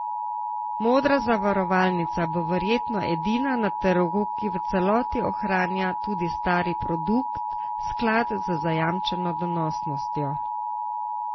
Modra zavarovalnica bo verjetno edina na trgu, ki v celoti ohranja tudi stari produkt, sklad z zajamčeno donosnostjo.